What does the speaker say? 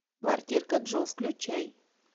квартирка джо включай